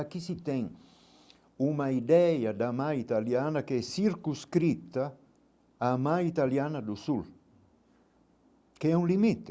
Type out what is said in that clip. Aqui se tem uma ideia da mãe italiana que é circunscrita à mãe italiana do Sul, que é um limite.